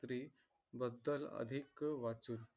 स्त्री बद्दल अधिक वाचून.